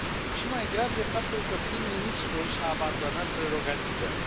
Și mai grav este faptul că prim ministrul și a abandonat prerogativele.